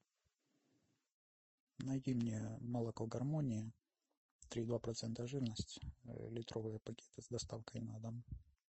найди мне молоко гармония три и два процента жирности литровые пакеты с доставкой на дом